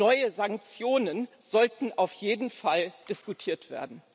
Neue Sanktionen sollten auf jeden Fall diskutiert werden.